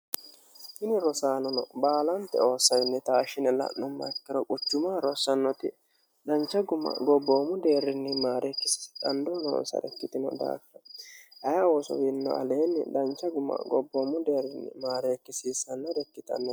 tini rosaanono baalante oossainni taashshine la'nummoha ikkiro quchumaho rossannoti dancha guma gobboomu deerrinni maareekkisate dandoo noonsare ikkitinota ayii oso wiinino aleenni dancha guma gobboommu deerrinni maareekkisiissannore ikkitanno